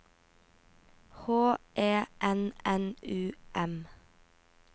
H E N N U M